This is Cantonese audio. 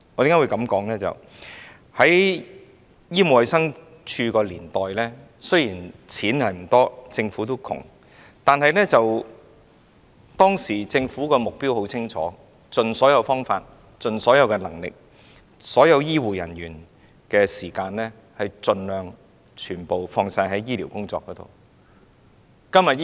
因為，在醫務衞生署的年代，雖然我們的資源不多，政府仍然很窮，但當時政府的目標很清晰，就是要盡所有方法、盡所有能力，把所有醫護人員的時間盡量放在醫療工作上。